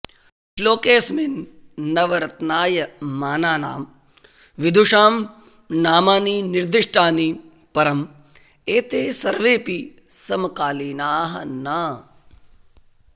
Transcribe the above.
श्लोकेऽस्मिन् नवरत्नायमानानां विदुषां नामानि निर्दिष्टानि परं एते सर्वेऽपि समकालीनाः न